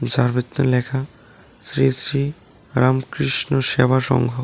যার ভিতর লেখা শ্রী শ্রী রামকৃষ্ণ সেবা সংঘ।